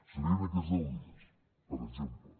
serien aquests deu dies per exemple